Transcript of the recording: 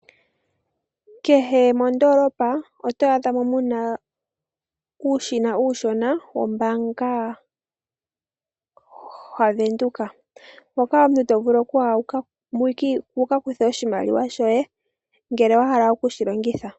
Kehe mondolopa oto adhamo muna uushina uushona wombanga ha Venduka hoka omuntu tovulu okuya wuka kuthe oshimaliwa shoye ngele wahala okushilongitha.